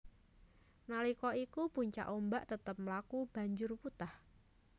Nalika iku puncak ombak tetep mlaku banjur wutah